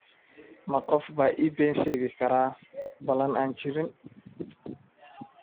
ma qof baa ii been sheegi kara ballan aan jirin?